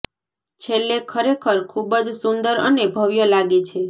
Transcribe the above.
છેલ્લે ખરેખર ખૂબ જ સુંદર અને ભવ્ય લાગે છે